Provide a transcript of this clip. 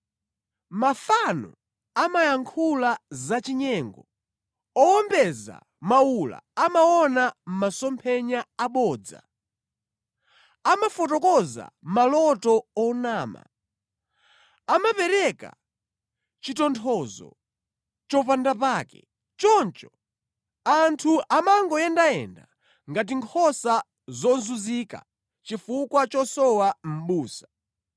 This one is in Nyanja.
Mafano amayankhula zachinyengo, owombeza mawula amaona masomphenya abodza; amafotokoza maloto onama, amapereka chitonthozo chopandapake. Choncho anthu amangoyendayenda ngati nkhosa zozunzika chifukwa chosowa mʼbusa.